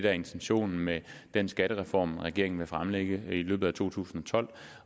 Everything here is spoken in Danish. er intentionen med den skattereform regeringen vil fremlægge i løbet af to tusind og tolv